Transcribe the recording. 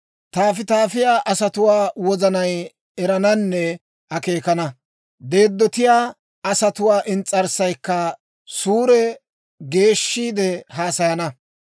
Tafitafiyaa asatuwaa wozanay erananne akeekana. Deeddotiyaa asatuwaa ins's'arssaykka suure geeshshiide haasayana.